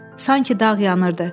Sanki dağ yanırdı.